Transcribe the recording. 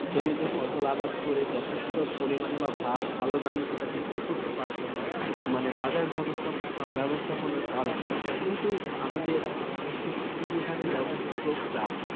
জমিতে ফসল আবাদ করে যথেষ্ট পরিমাণে ভাল দামে সেটি বিক্রি করতে পারত না। মানে বাজার ব্যবস্থা ব্যবস্থাপনার কারণে। কিন্তু আমাদের কৃষি খাতের ব্যবস্থাপকরা